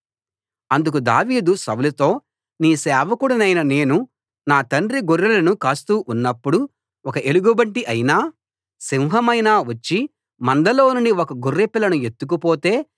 అందుకు దావీదు సౌలుతో నీ సేవకుడనైన నేను నా తండ్రి గొర్రెలను కాస్తూ ఉన్నప్పుడు ఒక ఎలుగుబంటి అయినా సింహమైనా వచ్చి మందలోనుండి ఒక గొర్రెపిల్లను ఎత్తుకుపోతే